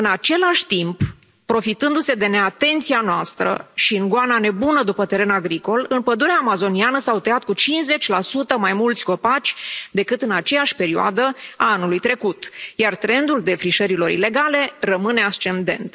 În același timp, profitându se de neatenția noastră și în goana nebună după teren agricol, în pădurea amazoniană s au tăiat cu 50 mai mulți copaci decât în aceeași perioadă a anului trecut, iar trendul defrișărilor ilegale rămâne ascendent.